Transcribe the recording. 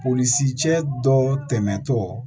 Polisicɛ dɔ tɛmɛntɔ